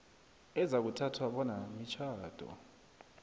ezakuthathwa bona mitjhado